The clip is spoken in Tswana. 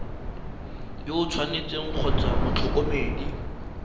yo o tshwanetseng kgotsa motlhokomedi